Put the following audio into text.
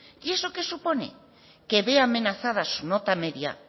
y eso qué supone que ve amenaza su nota media